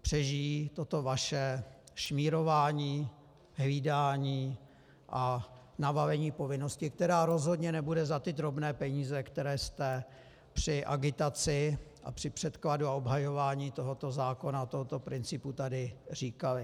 přežijí toto vaše šmírování, hlídání a navalení povinnosti, která rozhodně nebude za ty drobné peníze, které jste při agitaci a při předkladu a obhajování tohoto zákona, tohoto principu tady říkali.